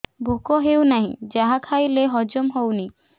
ଭୋକ ହେଉନାହିଁ ଯାହା ଖାଇଲେ ହଜମ ହଉନି